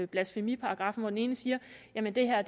blasfemiparagraffen og den ene siger at det her